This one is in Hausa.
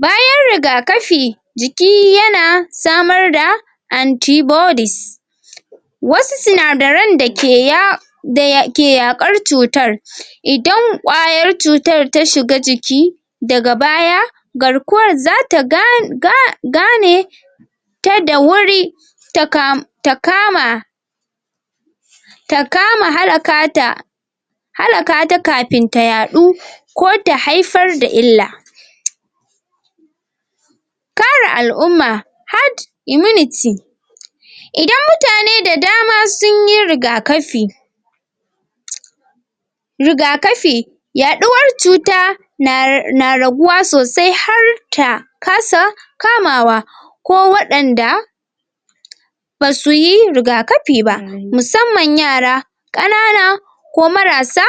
bayan rigakafi jiki yana samar da anti bodies wasu sinadaren da ke yawo da ke yaƙar cutar idan kwayar cutar ta shiga jiki daga baya garkuwar zata ga ga gane ta da wuri ta kamu ta kama ta kama halaka ta halaka ta kafin ta yaɗu ko ta haifar da illa kare al'umma hard immunity idan mutane da dama sunyi rigakafi rigakafi yaduwar cuta na na raguwaa sosai har ta kasa kamawa ko waɗanda basu yi rigakafi ba musamman yara ƙanana ko mara sa.